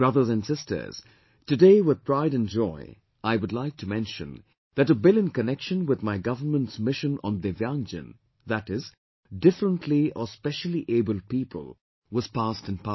Brothers and sisters, today with pride and joy I would like to mention that a bill in connection with my government's mission on Divyangjan, that is, differently or specially abled people was passed in Parliament